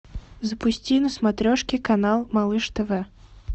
запусти на смотрешке канал малыш тв